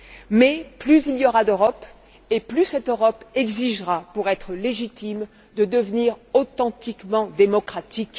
Mais plus il y aura d'Europe, et plus cette Europe exigera, pour être légitime, de devenir authentiquement démocratique.